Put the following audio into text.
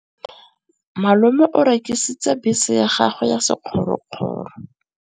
Malome o rekisitse bese ya gagwe ya sekgorokgoro.